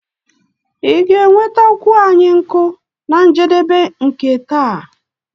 Ị ga-enwetakwu anyị nkụ na njedebe nke taa?